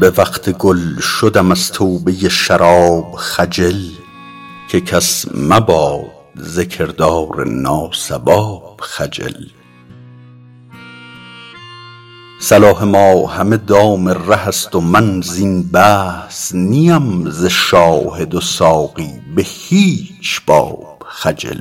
به وقت گل شدم از توبه شراب خجل که کس مباد ز کردار ناصواب خجل صلاح ما همه دام ره است و من زین بحث نی ام ز شاهد و ساقی به هیچ باب خجل